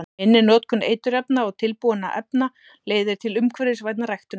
Minni notkun eiturefna og tilbúinna efna leiðir til umhverfisvænni ræktunar.